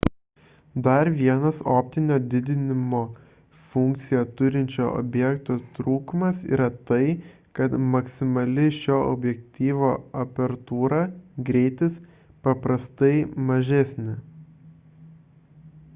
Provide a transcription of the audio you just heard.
dar vienas optinio didinimo funkciją turinčio objektyvo trūkumas yra tai kad maksimali šio objektyvo apertūra greitis paprastai mažesnė